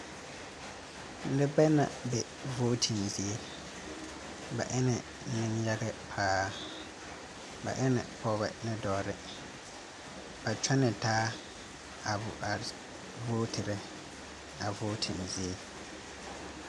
Nebɛ na be vooten zie. Ba ene neyage paa. Ba ene pɔgɔbɛ ne dɔɔbɛ. Bɛ kyɔne taa a a vooterɛ a vooten zie